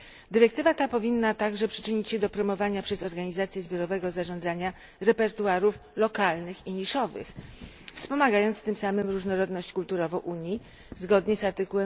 Dyrektywa ta powinna także przyczynić się do promowania przez organizacje zbiorowego zarządzania repertuarów lokalnych i niszowych, wspomagając tym samym różnorodność kulturową Unii zgodnie z art.